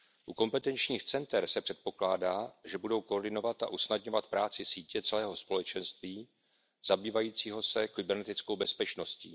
U kompetenčních center se předpokládá, že budou koordinovat a usnadňovat práci sítě celého společenství zabývajícího se kybernetickou bezpečností.